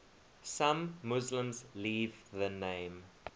some muslims leave the name